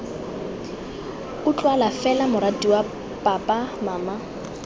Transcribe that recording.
utlwala fela moratiwa papa mama